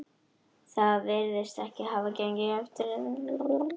Það virðist ekki hafa gengið eftir